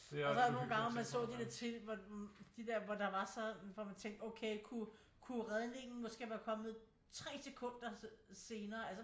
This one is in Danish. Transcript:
Og så var der nogle gange hvor man så de der ting hvor de der hvor der var så hvor man tænker okay kunne redningen måske været kommet 3 sekunder senere altså